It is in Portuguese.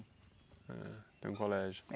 Tem um colégio.